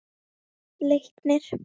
Leiknir